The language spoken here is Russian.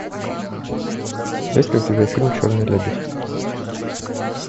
есть ли у тебя фильм черный лебедь